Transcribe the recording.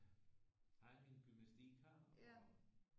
Har jeg min gymnastik her og